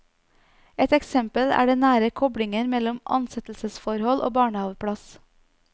Et eksempel er den nære koblingen mellom ansettelsesforhold og barnehaveplass.